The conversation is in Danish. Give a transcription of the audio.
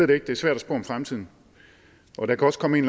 det ikke det er svært at spå om fremtiden og der kan også komme en